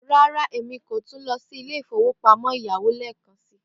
Rárá, Emi ko tun lọ si ilé ìfowópamọ́ ẹ̀yáwó lẹẹkansi.